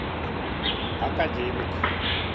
академик